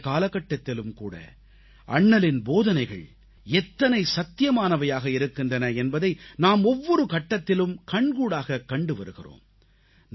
இன்றைய காலகட்டத்திலும்கூட அண்ணலின் போதனைகள் எத்தனை சத்தியமானவையாக இருக்கின்றன என்பதை நாம் ஒவ்வொரு கட்டத்திலும் நாம் கண்கூடாகக் கண்டு வருகிறோம்